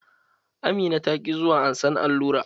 Amina ta ki zuwa ansan allura.